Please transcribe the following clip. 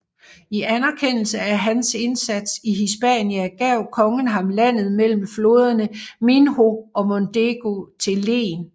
I anerkendelse af hans indsat i Hispania gav kongen ham landet mellem floderne Minho og Mondego til len